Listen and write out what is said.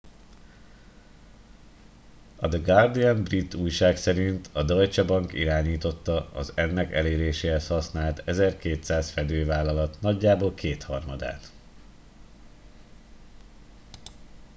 a the guardian brit újság szerint a deutsche bank irányította az ennek eléréséhez használt 1200 fedővállalat nagyjából kétharmadát